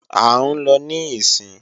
À ń lọ níìsín